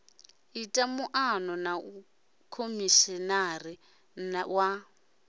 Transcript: ite muano na khomishinari wa